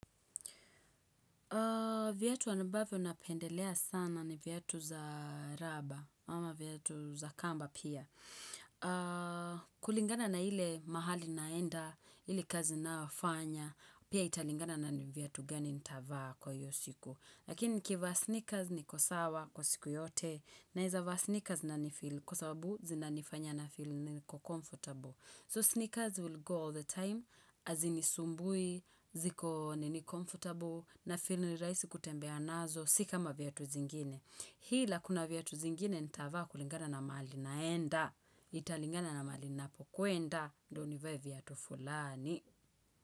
Viatu ambavyo napendelea sana ni viatu za raba ama viatu za kamba pia. Kulingana na ile mahali naenda, ile kazi ninayofanya, pia italingana na viatu gani nitavaa kwa hiyo siku. Lakini nikivaa sneakers niko sawa kwa siku yote naeza vaa sneakers na nifeel kwa sababu zinanifanya nafeel niko comfortable. So sneakers will go all the time, hazinisumbui, ziko nini comfortable, nafeel ni rahisi kutembea nazo, si kama viatu zingine. Ila kuna viatu zingine, nitavaa kulingana na mahali naenda, italingana na mahali napokwenda, ndio nivae viatu fulani.